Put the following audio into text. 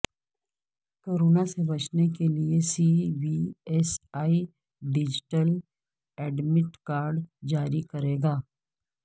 corona سے بچنے کیلئے C B S E digital admit card جاری کرے گا